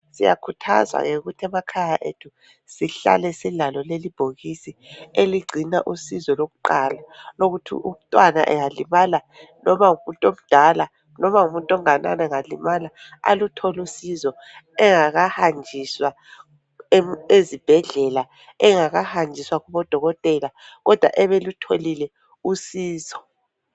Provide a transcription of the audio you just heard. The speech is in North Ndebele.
Siyakhuthaza ke ukuthi emakhaya ethu sihlale silalo leli ibhokisi eligcina usizo lokuqala lokuthi umntwana engalimala noma ngumuntu omdala noma ngumuntu onganani engalimala aluthole usizo engakahanjiswa ezibhedlela engakahanjiswa kubo dokotela kodwa ebe elutholile usizo.